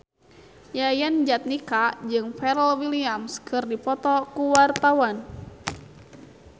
Yayan Jatnika jeung Pharrell Williams keur dipoto ku wartawan